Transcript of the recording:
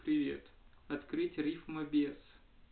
привет открыть рифмабес